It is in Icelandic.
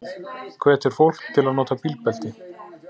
Hvetur fólk til að nota bílbelti